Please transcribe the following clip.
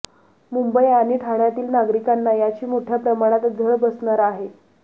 मुंबई आणि ठाण्यातील नागरिकांना याची मोठ्या प्रमाणात झळ बसणार आहे